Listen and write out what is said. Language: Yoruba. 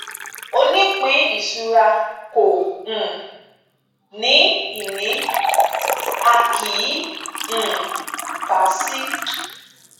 onípínìṣura kò um ní ìní a kì í um kà á sí